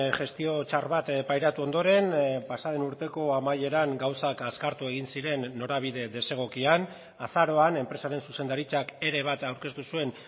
gestio txar bat pairatu ondoren pasaden urteko amaieran gauzak azkartu egin ziren norabide desegokian azaroan enpresaren zuzendaritzak ere bat aurkeztu zuen